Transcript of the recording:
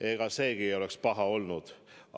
Ega seegi ei oleks paha olnud.